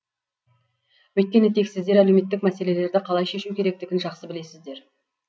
өйткені тек сіздер әлеуметтік мәселелерді қалай шешу керектігін жақсы білесіздер